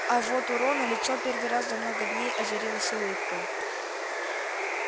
а вот у рона лицо первый раз за много дней озарилось улыбкой